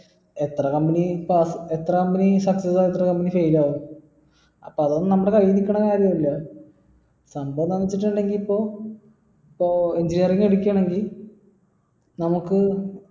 എത്ര company എത്ര company fail ആകും അപ്പൊ അതൊന്നും നമ്മടെ കയ്യില് നിക്കണ കാര്യല്ല സംഭവം എന്താണെന്ന് വെച്ചിട്ടുണ്ടെങ്കിൽ ഇപ്പം ഇപ്പൊ engineering എടുക്കാണേൽ നമുക്ക്